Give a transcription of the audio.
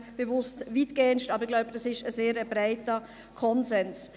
Ich sage bewusst weitestgehend, aber ich glaube, dies ist ein sehr breiter Konsens.